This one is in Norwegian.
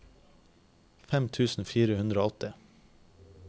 fem tusen fire hundre og åtti